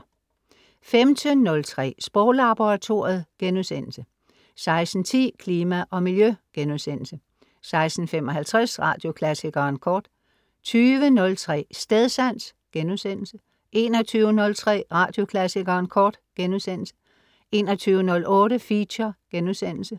15.03 Sproglaboratoriet* 16.10 Klima og Miljø* 16.55 Radioklassikeren Kort 20.03 Stedsans* 21.03 Radioklassikeren Kort* 21.08 Feature*